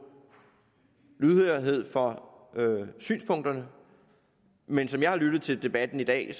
lydhørhed for synspunkterne men som jeg har lyttet til debatten i dag er